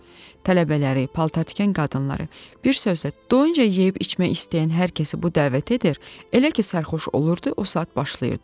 Tələbələri, paltartikən qadınları, bir sözlə, doyunca yeyib-içmək istəyən hər kəsi bura dəvət edir, elə ki sərxoş olurdu, o saat başlayırdı.